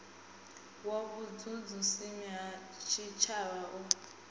wa vhutshutshisi ha tshitshavha u